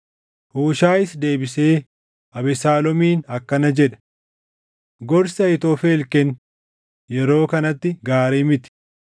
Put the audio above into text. Huushaayis deebisee Abesaaloomiin akkana jedhe; “Gorsi Ahiitofel kenne yeroo kanatti gaarii miti.